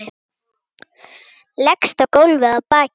Leggst á gólfið á bakið.